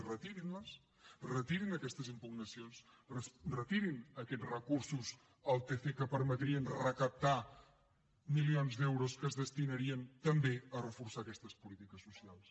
retirin les retirin aquestes impugnacions retirin aquests recursos al tc que permetrien recaptar milions d’euros que es destinarien també a reforçar aquestes polítiques socials